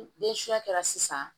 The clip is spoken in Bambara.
kɛra sisan